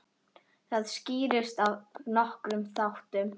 Það skýrist af nokkrum þáttum.